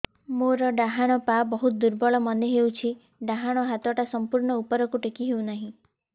ମୋର ଡାହାଣ ପାଖ ବହୁତ ଦୁର୍ବଳ ମନେ ହେଉଛି ଡାହାଣ ହାତଟା ସମ୍ପୂର୍ଣ ଉପରକୁ ଟେକି ହେଉନାହିଁ